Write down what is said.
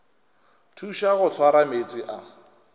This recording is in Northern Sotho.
thuša go swara meetse a